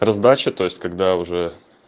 раздача то есть когда уже